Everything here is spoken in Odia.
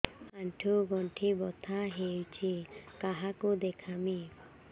ଆଣ୍ଠୁ ଗଣ୍ଠି ବାତ ହେଇଚି କାହାକୁ ଦେଖାମି